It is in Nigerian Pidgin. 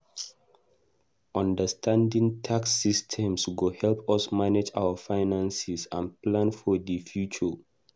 Understanding tax systems go help us manage our finances and plan for the future.